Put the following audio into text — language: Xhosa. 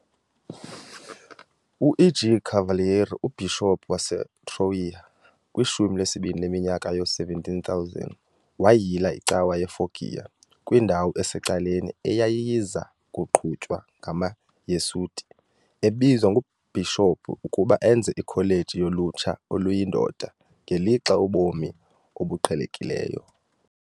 U-EG Cavalieri, uBhishophu waseTroia kwishumi lesibini leminyaka yoo-1700 wayila icawa yeFoggia, kwindawo esecaleni, eyayiza kuqhutywa ngamaJesuit, ebizwa nguBhishophu ukuba enze ikholeji yolutsha oluyindoda, ngelixa ubomi obuqhelekileyo.